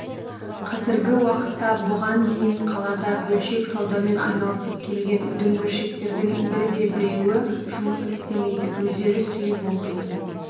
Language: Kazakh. қазіргі уақытта бұған дейін қалада бөлшек саудамен айналысып келген дүңгіршіктердің бірде-біреуі жұмыс істемейді өздері сүйіп оқитын